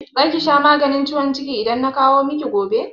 Za ki sha maganin ciwon ciki idan na kawo miki gobe?